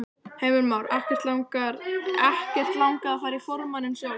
Heimir Már: Ekkert langað að fara í formanninn sjálf?